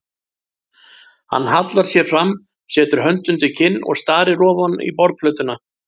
Hann hallar sér fram, setur hönd undir kinn og starir ofan í borðplötuna.